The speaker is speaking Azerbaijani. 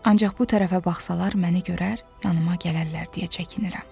Ancaq bu tərəfə baxsalalar məni görər, yanıma gələrlər deyə çəkinirəm.